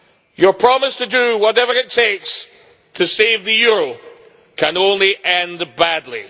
Your promise to do whatever it takes to save the euro can only end badly.